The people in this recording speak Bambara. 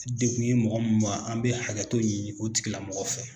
Degun ye mɔgɔ min maa, an bɛ hakɛtɔ ɲini o tigila mɔgɔ fɛ.